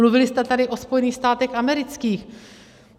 Mluvili jste tady o Spojených státech amerických.